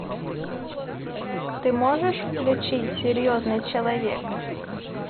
ты можешь включить серьезный человек